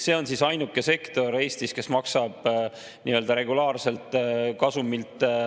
See on ainuke sektor Eestis, kes maksab nii-öelda regulaarselt kasumilt …